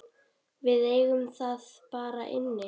Við eigum það bara inni.